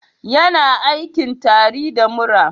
Yana aikin tari da mura